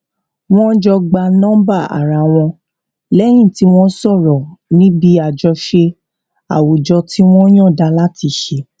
wón jọ gba nọmbà ara wọn lẹyìn tí wón sọrọ níbi àjọṣe àwùjọ tí wón yànda láti ṣe